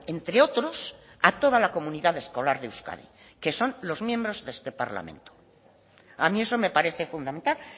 entre otros a toda la comunidad escolar de euskadi que son los miembros de este parlamento a mí eso me parece fundamental